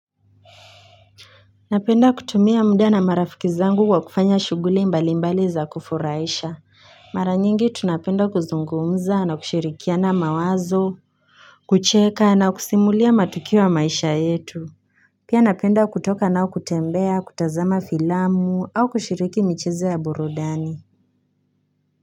Napenda kutumia muda na marafiki zangu kwa kufanya shughuli mbali mbali za kufurahisha Mara nyingi tunapenda kuzungumza na kushirikiana mawazo kucheka na kusimulia matukio ya maisha yetu Pia napenda kutoka nao kutembea kutazama filamu au kushiriki michezo ya burudani.